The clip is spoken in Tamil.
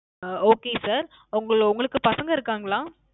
அஹ் Okay Sir உங்க உங்களுக்கு பசங்க இருக்காங்களா